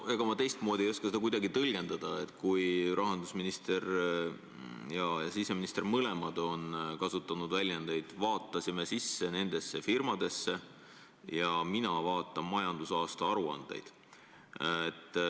Ega ma teistmoodi ei oska seda kuidagi tõlgendada, kui rahandusminister ja siseminister mõlemad on kasutanud väljendeid "vaatasime sisse nendesse firmadesse" ja "mina vaatan majandusaasta aruandeid".